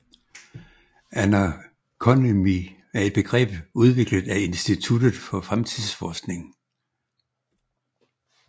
Anarconomy er et begreb udviklet af Instituttet for Fremtidsforskning